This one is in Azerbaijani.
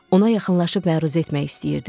Ona yaxınlaşıb məruzə etmək istəyirdim.